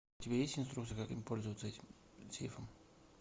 у тебя есть инструкция как им пользоваться этим сейфом